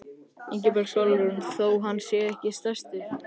Ingibjörg Sólrún: Þó hann sé ekki stærstur?